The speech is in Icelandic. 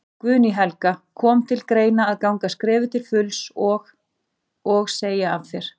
Guðný Helga: Kom til greina að ganga skrefið til fulls og, og segja af þér?